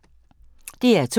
DR2